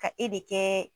Ka e de kɛ